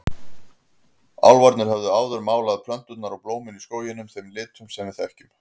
Álfarnir höfðu áður málað plönturnar og blómin í skóginum þeim litum sem við þekkjum.